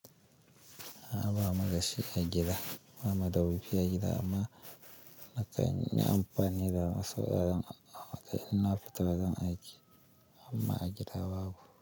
A ba ma gashi a gida, ba ma da wuri fiye a gida amma na kan yi amfani da wasu waɗannan abubuwa na fitar da zan aiki amma a gida babu.